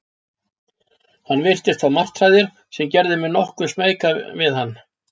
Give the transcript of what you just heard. Hann virtist fá martraðir, sem gerði mig nokkuð smeyka við hann.